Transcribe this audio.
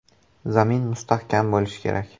“Zamin mustahkam bo‘lishi kerak.